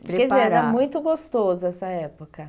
Quer dizer, era muito gostoso essa época.